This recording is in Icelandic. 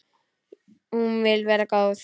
Hún vill vera góð.